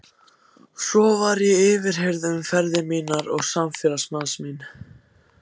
Svo var ég yfirheyrð um ferðir mínar og samferðamanns míns.